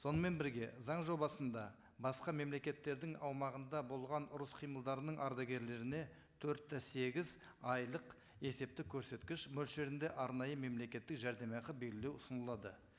сонымен бірге заң жобасында басқа мемлекеттердің аумағында болған ұрыс қимылдарының ардагерлеріне төрт те сегіз айлық есептік көрсеткіш мөлшерінде арнайы мемлекеттік жәрдемақы белгілеу ұсынылады